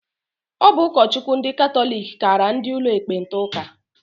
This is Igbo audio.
Ọ bụ ụkọchukwu ndị katọlik kara ndị ụlọ ekpenta ụka.